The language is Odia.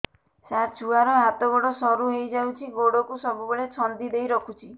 ସାର ଛୁଆର ହାତ ଗୋଡ ସରୁ ହେଇ ଯାଉଛି ଗୋଡ କୁ ସବୁବେଳେ ଛନ୍ଦିଦେଇ ରଖୁଛି